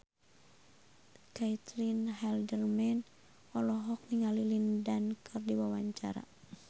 Caitlin Halderman olohok ningali Lin Dan keur diwawancara